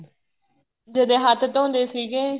ਜਦੇਂ ਹੱਥ ਧੋਂਦੇ ਸੀਗੇ